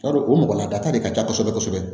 Yarɔ o mɔgɔ ladata de ka ca kosɛbɛ kosɛbɛ